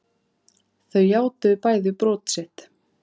Þau játuðu bæði brot sitt